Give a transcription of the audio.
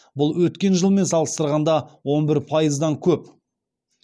бұл өткен жылмен салыстырғанда он бір пайыздан көп